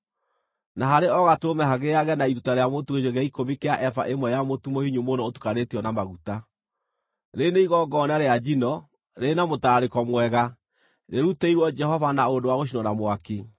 na harĩ o gatũrũme hagĩage na iruta rĩa mũtu gĩcunjĩ gĩa ikũmi kĩa eba ĩmwe ya mũtu mũhinyu mũno ũtukanĩtio na maguta. Rĩrĩ nĩ igongona rĩa njino, rĩrĩ na mũtararĩko mwega, rĩrutĩirwo Jehova na ũndũ wa gũcinwo na mwaki.